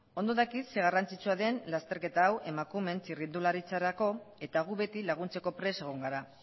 ondo dakit ze garrantzitsua den lasterketa hau emakumeen txirrindularitzarako eta gu beti laguntzeko prest egon gara